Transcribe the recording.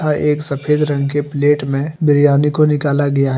हां एक सफेद रंग के प्लेट में बिरयानी को निकाला गया है।